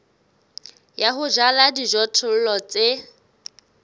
ya ho jala dijothollo tse